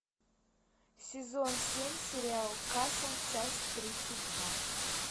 сезон семь сериал касл часть тридцать два